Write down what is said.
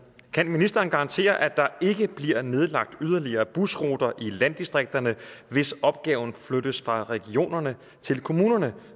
kan ministeren garantere at der ikke bliver nedlagt yderligere busruter i landdistrikterne hvis opgaven flyttes fra regionerne til kommunerne